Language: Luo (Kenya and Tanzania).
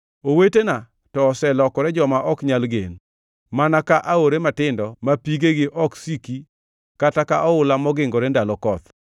Owetena to oselokore joma ok nyal gen, mana ka aore matindo ma pigegi ok siki kata ka oula mogingore ndalo koth,